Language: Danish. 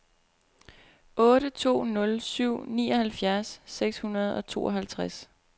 otte to nul syv nioghalvfjerds seks hundrede og tooghalvtreds